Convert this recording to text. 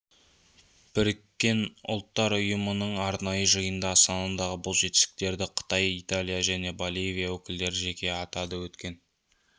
біріккен ұлттар ұйымының арнайы жиынында астанадағы бұл жетістіктерді қытай италия және боливия өкілдері жеке атады өткен